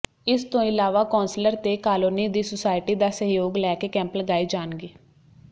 ਇਸ ਤੋਂ ਇਲਾਵਾ ਕੌਂਸਲਰ ਤੇ ਕਾਲੋਨੀ ਦੀ ਸੁਸਾਇਟੀ ਦਾ ਸਹਿਯੋਗ ਲੈ ਕੇ ਕੈਂਪ ਲਗਾਏ ਜਾਣਗੇ